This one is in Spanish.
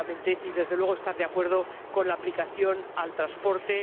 Y, desde luego, estoy de acuerdo con la aplicación al transporte